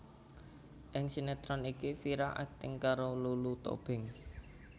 Ing sinétron iki Vira akting karo Lulu Tobing